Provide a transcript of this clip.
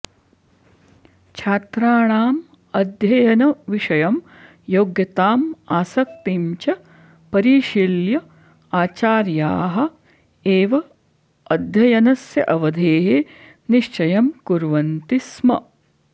छात्राणाम् अध्ययनविषयं योग्यताम् आसक्तिं च परिशील्य आचार्याः एव अध्ययनस्य अवधेः निश्चयं कुर्वन्ति स्म